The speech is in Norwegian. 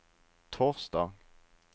torsdag